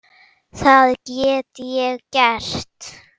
Það get ég gert.